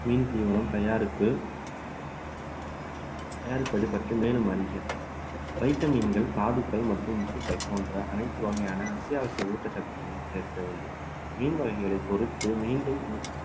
மீன் தீவனம் தயாரிப்பு தயாரிப்பது பற்றி மேலும் அறிக வைட்டமின்கள், தாதுக்கள் மற்றும் உப்புக்கள் போன்ற அனைத்து வகையான அத்தியாவசிய ஊட்டச்சத்துக்களையும் சேர்க்க வேண்டும் மீன் வகைகளை பொறுத்து மீண்டும்